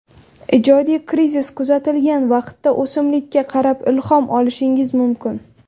Ijodiy krizis kuzatilgan vaqtda o‘simlikka qarab ilhom olishingiz mumkin.